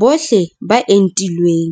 Bohle ba entilweng